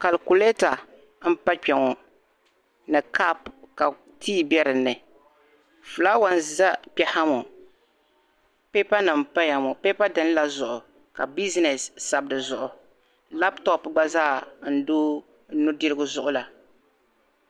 kalkuleta n pa kpe ŋɔ ni kap ka tii be dinni flawa n za kpeha ŋɔ paper nim n paya ŋɔ paper din la zuɣu ka business sabu di zuɣu laptop gba zaa n do nu'dirigu zuɣu la.